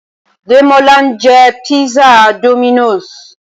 Démọ́lá ń jẹ písà Dominos